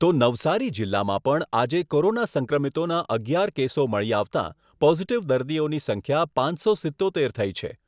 તો નવસારી જીલ્લામાં પણ આજે કોરોના સંક્રમિતોના અગિયાર કેસો મળી આવતાં, પોઝીટીવ દર્દીઓની સંખ્યા પાંચસો સિત્તોતેર થઈ છે.